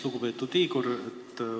Lugupeetud Igor!